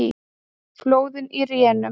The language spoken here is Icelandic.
Flóðin í rénun